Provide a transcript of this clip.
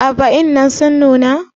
ayaba dinnan sun nuna?